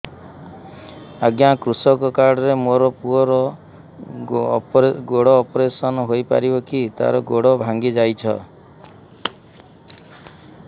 ଅଜ୍ଞା କୃଷକ କାର୍ଡ ରେ ମୋର ପୁଅର ଗୋଡ ଅପେରସନ ହୋଇପାରିବ କି ତାର ଗୋଡ ଭାଙ୍ଗି ଯାଇଛ